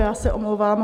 Já se omlouvám.